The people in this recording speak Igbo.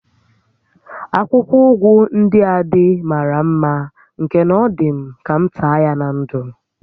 Akwụkwọ ụgụ ndịa dị màrà mmá nke na ọ dị m ka m taa ya na ńdụ̀